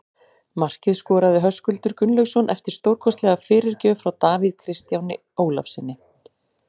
Markið skoraði Höskuldur Gunnlaugsson eftir stórkostlega fyrirgjöf frá Davíð Kristjáni Ólafssyni.